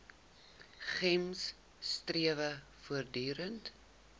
gems strewe voortdurend